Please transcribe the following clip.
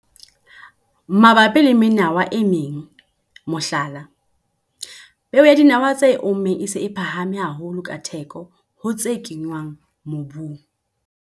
Mabapi le menawa e meng, mohlala, peo ya dinawa tse ommeng e se e phahame haholo ka theko ho tse kenngwang mobung.